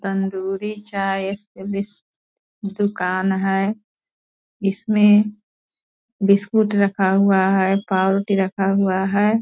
तंदूरी चाय स्पेसलिस्ट दुकान है। इसमें बिस्कुट रखा हुआ है पाव रोटी रखा हुआ है।